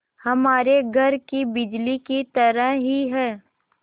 हमारे घर की बिजली की तरह ही है